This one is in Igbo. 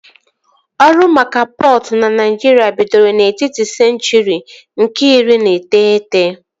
Ọrụ maka pọtụ na Naịjirịa bidoro n'etiti senchụri nke iri na iteghete